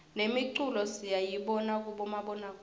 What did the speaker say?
nemiculo siyayibona kubomabonakudze